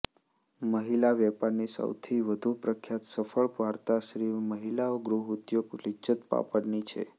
મહિલા વેપારની સૌથી વધુ પ્રખ્યાત સફળ વાર્તા શ્રી મહિલા ગૃહ ઉદ્યોગ લિજ્જત પાપડની છે